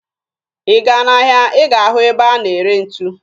Ị gaa n'ahịa ị ga-ahụ ebe a na-ere ntu